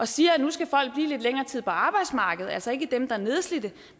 siger at nu skal folk blive lidt længere tid på arbejdsmarkedet altså ikke dem der er nedslidte